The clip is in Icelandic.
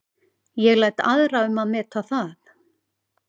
Ég læt aðra um að meta það.